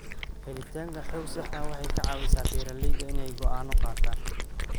Helitaanka xog sax ah waxay ka caawisaa beeralayda inay go'aano qaataan.